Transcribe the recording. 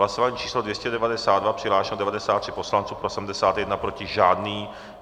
Hlasování číslo 292, přihlášeno 93 poslanců, pro 71, proti žádný.